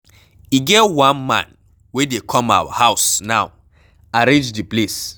E get one man wey dey come our house now, arrange the place.